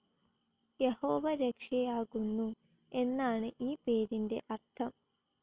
യഹോവ രക്ഷയാകുന്നു എന്നാണു ഈ പേരിൻ്റെ അർഥം.